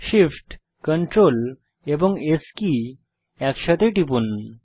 Shift Ctrl এবং S key একসাথে টিপুন